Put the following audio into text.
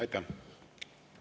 Aitäh!